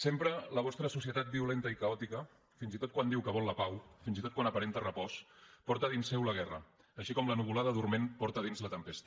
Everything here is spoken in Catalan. sempre la vostra societat violenta i caòtica fins i tot quan diu que vol la pau fins i tot quan aparenta repòs porta dins seu la guerra així com la nuvolada dorment porta a dins la tempesta